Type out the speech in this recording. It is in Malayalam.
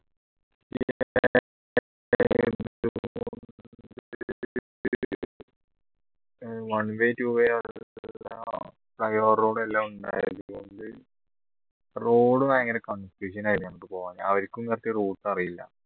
one way two way road ഭയങ്കര confusion ആയിരുന്നു ഞങ്ങൾക്ക് പോവാൻ അവരിക്കും correct routes അറിയില്ല